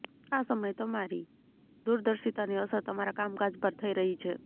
આ સમય તમારી દૂરદર્શિતાની અસર તમારા કામ કાજ પર થઈ રહી છે